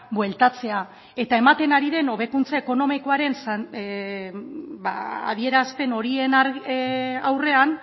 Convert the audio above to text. bueltatzea eta ematen ari den hobekuntza ekonomikoaren adierazpen horien aurrean